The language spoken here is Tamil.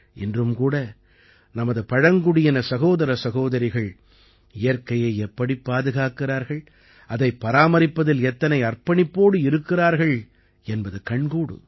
இன்றும் கூட நமது பழங்குடியின சகோதரசகோதரிகள் இயற்கையை எப்படிப் பாதுகாக்கிறார்கள் அதைப் பராமரிப்பதில் எத்தனை அர்ப்பணிப்போடு இருக்கிறார்கள் என்பது கண்கூடு